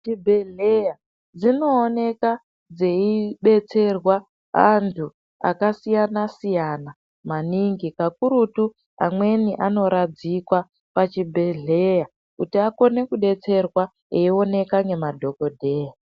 Dzibhedhleya dzinoonekwa dzeibetserwa andu akasiyana siyana maningi kakurutu amweni anoradzikwa pachibhedhleya kuti akone kudetserwa eioneka nemaDhokodheya.